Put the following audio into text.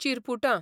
चिरपुटां